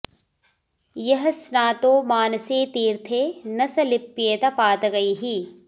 यः स्नातो मानसे तीर्थे न स लिप्येत पातकैः